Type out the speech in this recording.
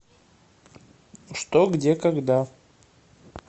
что где когда